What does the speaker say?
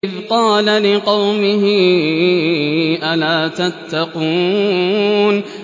إِذْ قَالَ لِقَوْمِهِ أَلَا تَتَّقُونَ